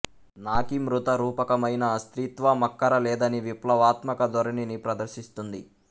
నాకీ మృత రూపకమైన స్త్రీత్వమక్కర లేదని విప్లవాత్మక ధోరణిని ప్రదర్శిస్తుంది